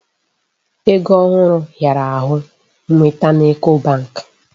Ego ohụrụ hịara ahụ nweta n'Eco bank.